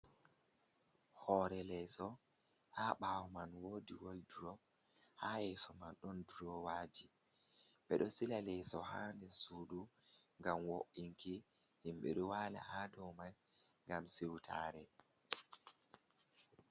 Hore leso ha ɓawo man wodi wol drop ha yeso man don drowaji ,be do sila leso ha der sudu gam wo’inki himbe dowala ha do man gam siwtare.